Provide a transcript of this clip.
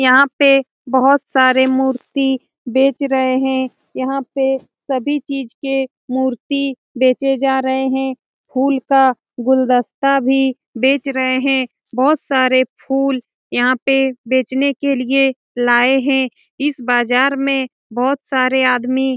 यहाँ पे बहुत सारे मूर्ति बेच रहें हैं। यहाँ पे सभी चीज़ के मूर्ति बेचे जा रहें हैं। फूल का गुलदस्ता भी बेच रहें हैं बहुत सारे फूल यहाँ पे बेचने के लिए लाए हैं। इस बाजार में बहुत सारे आदमी --